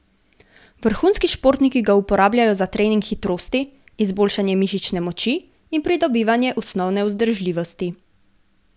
Vrhunski športniki ga uporabljajo za trening hitrosti, izboljšanje mišične moči in pridobivanje osnovne vzdržljivosti.